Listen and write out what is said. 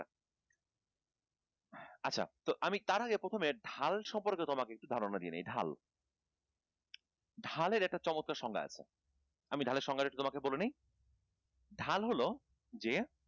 আচ্ছা তো আমি তার আগে প্রথমে ঢাল সম্পর্কে তোমাকে একটু ধারণা দিয়ে নেই ঢাল ঢালের একটা চমৎকার সংজ্ঞা আছে। আমি ঢালের সংজ্ঞাটা তোমাকে একটু বলে নেই ঢাল হল যে